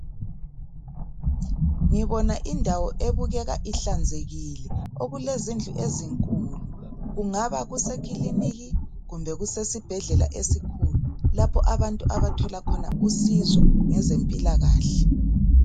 Ngibona indawo ebukeka ihlanzekile, okulezindlu ezinkulu, kungaba kusekulinika kumbe kusesibhedlela esikhulu lapho abantu abathola khona usizo ngezempilakahle.